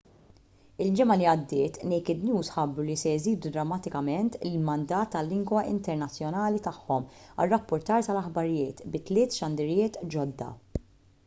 il-ġimgħa li għaddiet naked news ħabbru li se jżidu drammatikament il-mandat tal-lingwa internazzjonali tagħhom għar-rappurtar tal-aħbarijiet bi tliet xandiriet ġodda